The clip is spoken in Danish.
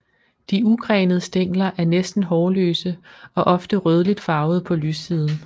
De ugrenede stængler er næsten hårløse og ofte rødligt farvede på lyssiden